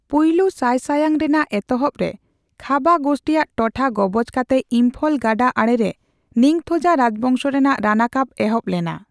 ᱯᱩᱭᱞᱳ ᱥᱟᱭᱥᱟᱭᱟᱝ ᱨᱮᱱᱟᱜ ᱮᱛᱚᱦᱵ ᱨᱮ, ᱠᱷᱟᱵᱟ ᱜᱳᱥᱴᱤᱭᱟᱜ ᱴᱚᱴᱷᱟ ᱜᱚᱵᱚᱡ ᱠᱟᱛᱮ, ᱤᱢᱯᱷᱚᱞ ᱜᱟᱰᱟ ᱟᱲᱮᱨᱮ ᱱᱤᱝᱛᱷᱳᱡᱟ ᱨᱟᱡᱽᱵᱚᱸᱥᱚ ᱨᱮᱱᱟᱜ ᱨᱟᱱᱟᱠᱟᱵ ᱮᱦᱚᱵ ᱞᱮᱱᱟ᱾